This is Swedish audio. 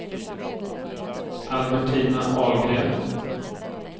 Albertina Ahlgren